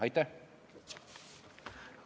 Aitäh!